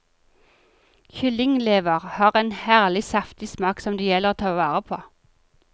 Kyllinglever har en herlig saftig smak som det gjelder å ta vare på.